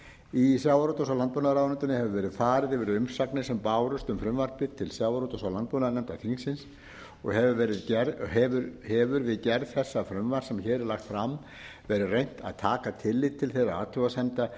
í sjávarútvegs og landbúnaðarráðuneytinu hefur verið farið yfir umsagnir sem bárust um frumvarpið til sjávarútvegs og landbúnaðarnefndar þingsins og hefur við gerð þessa frumvarps sem hér er lagt fram verið reynt að taka tillit til þeirra athugasemda